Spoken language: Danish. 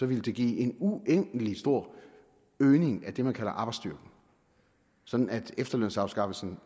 ville det give en uendelig stor øgning af det man kalder arbejdsstyrken sådan at efterlønsafskaffelsen